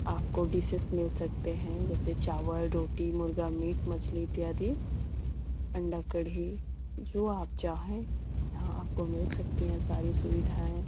आप को डिशेस मिल सकते हैं जैसे चावल रोटी मुर्गा मीट मछली इत्यादि अंडा कढ़ी। जो आप चाहें यहाँ आपको मिल सकती हैं सारी सविधाएं।